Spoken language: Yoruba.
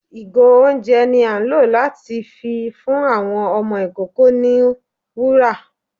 igo oúnjẹ ni a ń lo latí fí fún awọn ọmọ ikoko ní wùrà